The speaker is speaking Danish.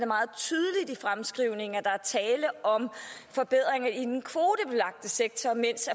meget tydeligt i fremskrivningen at der er tale om forbedringer i den kvotebelagte sektor mens